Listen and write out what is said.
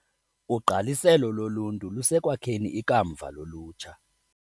Ugqaliselo loluntu lusekwakheni ikamva lolutsha.